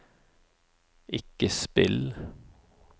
ikke spill